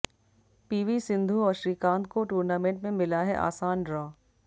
PV Sindhu और श्रीकांत को tournament में मिला है आसान ड्रॉ